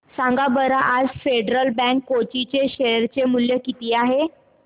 सांगा बरं आज फेडरल बँक कोची चे शेअर चे मूल्य किती आहे